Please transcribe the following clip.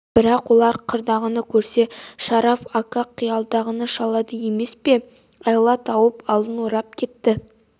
бірақ олар қырдағыны көрсе шараф ака қиядағыны шалады емес пе айла тауып алдын орап кетті